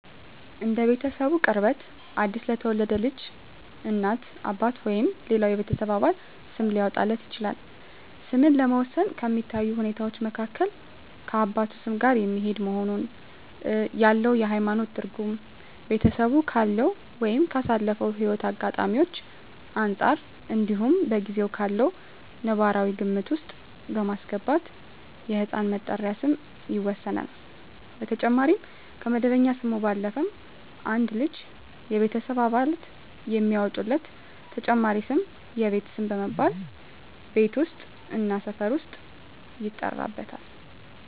እንደ ቤተሰቡ ቅርበት አዲስ ለተወለደ ልጅ እናት፣ አባት ወይም ሌላው የቤተሰብ አባል ስም ሊያወጣለት ይችላል። ስምን ለመወሰን ከሚታዩ ሁኔታወች መካከል ከአባቱ ስም ጋር የሚሄድ መሆኑን፣ ያለው የሀይማኖት ትርጉም፣ ቤተሰቡ ካለው ወይም ካሳለፈው ህይወት አጋጣሚወች አንፃር እንዲሁም በጊዜው ካለው ነባራዊ ግምት ውስጥ በማስገባት የህፃን መጠሪያ ስም ይወሰናል። በተጨማሪም ከመደበኛ ስሙ ባለፈም አንድ ልጅ የቤተሰብ አባላት የሚያወጡለት ተጨማሪ ስም የቤት ስም በመባል ቤት ውስጥ እና ሰፈር ውስጥ ይጠራበታል።